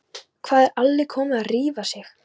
Hvað er Alli kommi að rífa sig?